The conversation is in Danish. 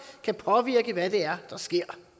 kan påvirke hvad det er der sker